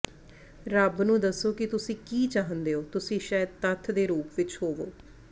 ਰੱਬ ਨੂੰ ਦੱਸੋ ਕਿ ਤੁਸੀਂ ਕੀ ਚਾਹੁੰਦੇ ਹੋ ਤੁਸੀਂ ਸ਼ਾਇਦ ਤੱਥ ਦੇ ਰੂਪ ਵਿਚ ਹੋਵੋਂ